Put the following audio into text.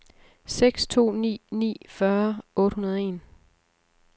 seks to ni ni fyrre otte hundrede og en